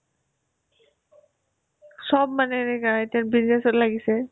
চব মানে এনেকুৱা এতিয়া business ত লাগিছে